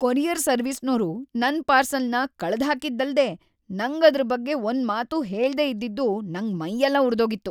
Courier ಸರ್ವೀಸ್ನೋರು ನನ್ ಪಾರ್ಸೆಲ್‌ನ ಕಳ್ದ್‌ಹಾಕಿದ್ದಲ್ದೇ ನಂಗ್ ಅದ್ರ್‌ ಬಗ್ಗೆ ಒಂದ್ಮಾತೂ ಹೇಳ್ದೇ ಇದ್ದಿದ್ದು ನಂಗ್ ಮೈಯೆಲ್ಲ ಉರ್ದೋಗಿತ್ತು.